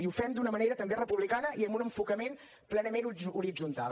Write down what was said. i ho fem d’una manera també republicana i amb un enfocament plenament horitzontal